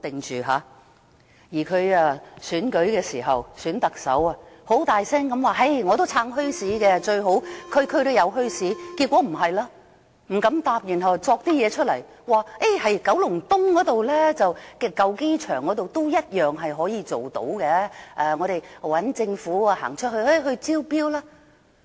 她在選舉特首時，大聲地說她"撐"墟市，最好區區也有墟市，結果卻不是這樣，她不敢回答，所以杜撰一些東西出來，說在九龍東舊機場也同樣可以做到，由政府招標。